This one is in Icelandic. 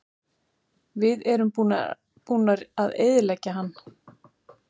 Við erum búnir að eyðileggja hann.